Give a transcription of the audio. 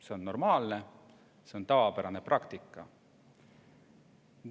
See on normaalne, see on tavapärane praktika.